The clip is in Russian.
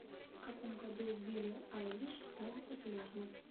в каком году билли айлиш стала популярна